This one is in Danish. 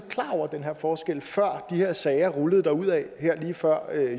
klar over den her forskel før de her sager rullede derudad lige før